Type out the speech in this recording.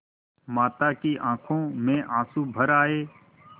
माता की आँखों में आँसू भर आये